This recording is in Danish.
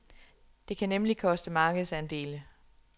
Det kan nemlig koste markedsandele.